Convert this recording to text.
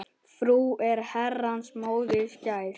Frú er Herrans móðir skær.